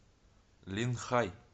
линхай